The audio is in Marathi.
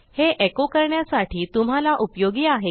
हे एको करण्यासाठी तुम्हाला उपयोगी आहे